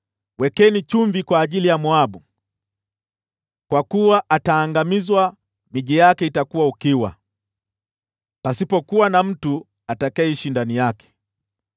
Wekeni chumvi kwa ajili ya Moabu, kwa kuwa ataangamizwa; miji yake itakuwa ukiwa, pasipo kuwa na mtu atakayeishi ndani yake.